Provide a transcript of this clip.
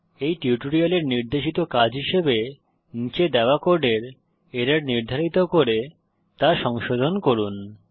এই টিউটোরিয়ালের নির্দেশিত কাজ হিসাবে নীচে দেওয়া কোডের এরর নির্ধারিত করে তা সংশোধন করুন